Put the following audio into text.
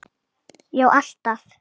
Já alltaf.